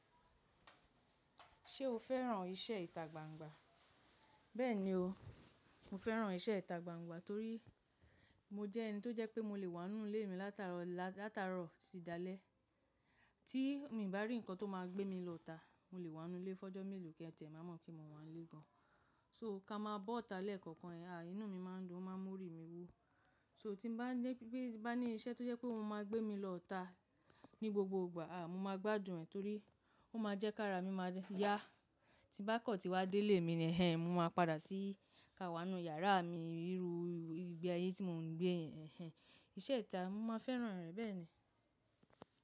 Ṣé o fẹ́ràn iṣẹ́ ìta gbangba? Bẹ́ẹ̀ni o, mo fẹ́ràn iṣẹ́ ìta gbangba torí mo jẹ́ ẹni tó jẹ́ pé mo lè wá nínú ilé mi látara, látara tí dalẹ́. Tí mo ìbá rí nǹkan tó máa gbé mi lọ ita, mo lè wá nínú ilé fọ́jọ́ mélòó kí ẹ tiẹ̀ mamọ̀ pe mo wá nílé gan. So ká máa boọ̀tá lẹ́ẹ̀kọ̀kan, à ínú mi máa ń dùn, ó máa ń mú òrì mi wu. So tí mo bá ní, bá ní iṣẹ́ tó jẹ́ pé ó máa gbé mi lọ ta ní gbogbo ìgbà, à mo máa gbádùn ẹ̀ torí ó máa jẹ́ ká ara mi máa yá. Tí bá kọ́ tí wá dé ilé mi ni ẹ́, mo máa padà sí ká wá nínú yàrá mi ríru igbe yẹn tí mo ń gbé ẹ́. Ẹ̀hẹ́n, iṣẹ́ ìta, mo máa fẹ́ràn rẹ̀ bẹ́ẹ̀ ni.